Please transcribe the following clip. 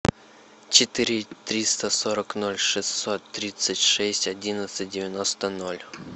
четыре триста сорок ноль шестьсот тридцать шесть одиннадцать девяносто ноль